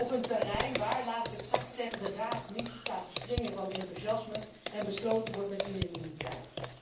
Op een terrein waar laat ik het zacht zeggen de Raad niet staat te springen van enthousiasme en besloten wordt met unanimiteit.